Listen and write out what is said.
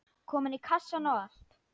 Komin í kassann og allt.